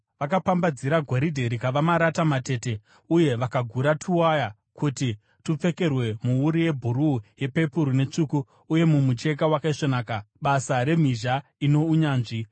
Vakapambadzira goridhe rikava marata matete uye vakagura tuwaya kuti tupfekerwe muwuru yebhuruu, yepepuru netsvuku uye mumucheka wakaisvonaka, basa remhizha ino unyanzvi.